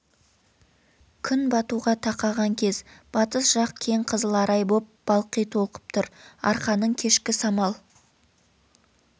күн батуға тақаған кез батыс жақ кең қызыл арай боп балқи толқып тұр арқаның кешкі самал